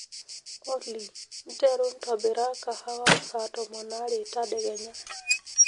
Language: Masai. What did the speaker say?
olly nteru ntobira kahawa saa tomon aare tadekenya